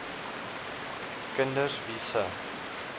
kinders wie se